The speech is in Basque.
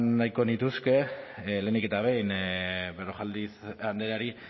nahiko nituzke lehenik eta behin berrojalbiz andreari